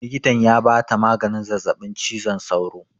Likitan ya ba ta maganin zazzaɓin cizon sauro